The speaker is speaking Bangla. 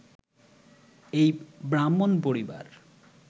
এই ব্রাহ্মণ পরিবার